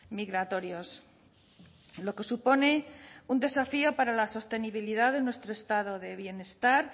migratorios lo que supone un desafío para la sostenibilidad de nuestro estado de bienestar